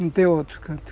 Não tem outro, canto.